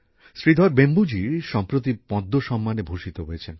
শ্রীধর বেম্বু জি সম্প্রতি পদ্ম সম্মানে ভূষিত হয়েছেন